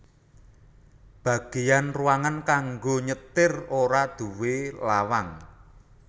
Bagéyan ruangan kanggo nyetir ora nduwé lawang